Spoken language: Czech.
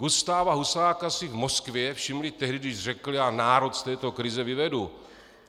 Gustáva Husáka si v Moskvě všimli tehdy, když řekl: "Já národ z této krize vyvedu."